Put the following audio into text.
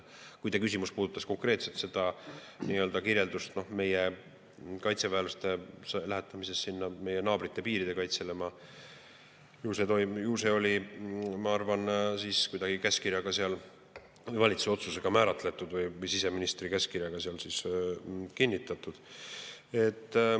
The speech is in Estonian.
Kui teie küsimus puudutas konkreetselt meie kaitseväelaste lähetamist meie naabrite piiride kaitsele, siis ju see oli, ma arvan, kuidagi valitsuse otsusega määratud või siseministri käskkirjaga kinnitatud.